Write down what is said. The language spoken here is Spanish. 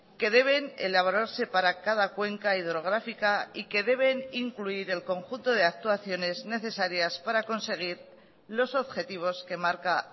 que deben elaborarse para cada cuenca hidrográfica y que deben incluir el conjunto de actuaciones necesarias para conseguir los objetivos que marca